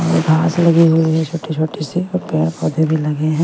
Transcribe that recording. और घास लगी हुई है छोटी-छोटी सी और पेड़-पौधे भी लगे हैं।